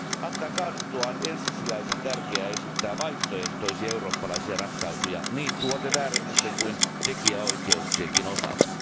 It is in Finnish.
ACTAn kaaduttua on ensisijaisen tärkeää esittää vaihtoehtoisia eurooppalaisia ratkaisuja niin tuoteväärennösten kuin tekijänoikeuksienkin osalta.